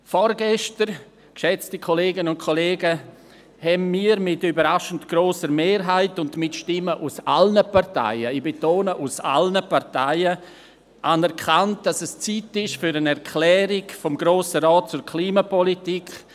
Vorgestern, geschätzte Kolleginnen und Kollegen, haben wir mit überraschend grosser Mehrheit und mit Stimmen aus allen Parteien – ich betone: aus Parteien – anerkannt, dass es Zeit ist für eine Erklärung des Grossen Rates zur Klimapolitik;